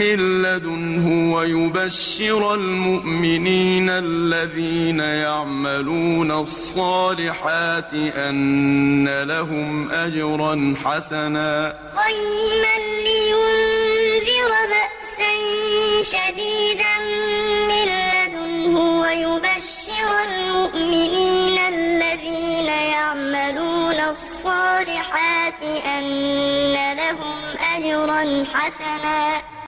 مِّن لَّدُنْهُ وَيُبَشِّرَ الْمُؤْمِنِينَ الَّذِينَ يَعْمَلُونَ الصَّالِحَاتِ أَنَّ لَهُمْ أَجْرًا حَسَنًا قَيِّمًا لِّيُنذِرَ بَأْسًا شَدِيدًا مِّن لَّدُنْهُ وَيُبَشِّرَ الْمُؤْمِنِينَ الَّذِينَ يَعْمَلُونَ الصَّالِحَاتِ أَنَّ لَهُمْ أَجْرًا حَسَنًا